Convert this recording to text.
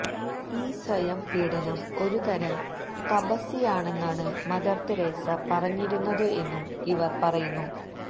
ഈ സ്വയം പീഡനം ഒരുതരം തപസ്യയാണെന്നാണ് മദർ തെരേസ പറഞ്ഞിരുന്നത് എന്നും ഇവർ പറയുന്നു